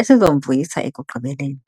esizomvuyisa ekugqibeleni.